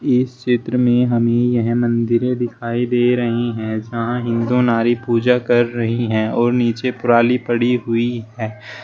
इस चित्र में हमें यह मंदिरे दिखाई दे रही हैं जहां हिंदू नारी पूजा कर रही हैं और नीचे पराली पड़ी हुई है।